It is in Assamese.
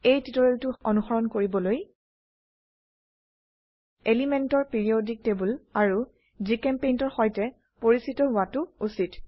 এই টিউটোৰিয়েলটো অনুসৰণ কৰিবলৈ এলিমেন্টৰ পিৰিয়ডিক টেবোল আৰু জিচেম্পেইণ্ট এৰ সৈতে পৰিচিত হোৱাতো উচিত